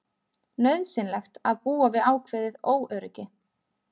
Nauðsynlegt að búa við ákveðið óöryggi